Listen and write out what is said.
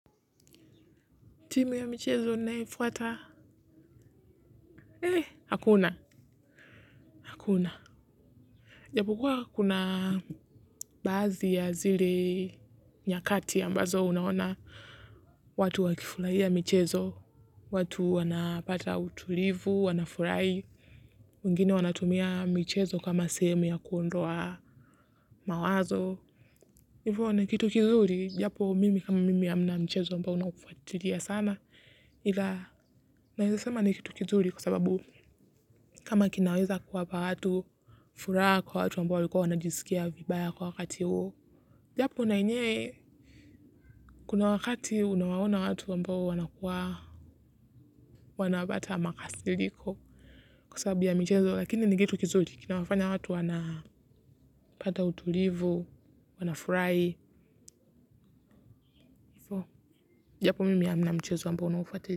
Timu ya michezo naifuata, eh, hakuna, hakuna. Japo kuwa kuna baadhi ya zile nyakati ambazo unaona watu wakifurahia michezo, watu wanapata utulivu, wanafurahi, wengine wanatumia michezo kama sehemu ya kuondoa mawazo. Ivo ni kitu kizuri, japo mimi mimi hamna mchezo ambao naufuatilia sana, ila naweza sema ni kitu kizuri kwa sababu kama kinaweza kuwapa watu furaha kwa watu ambao walikuwa wanajisikia vibaya kwa wakati huo japo na yenyewe kuna wakati unawaona watu ambao wanakuwa wanapata makasiriko kwa sababu ya mchezo lakini nikitu kizuri kinawafanya watu wana pata utulivu wana furahi japo mimi amna mchezo ambao naufatilia.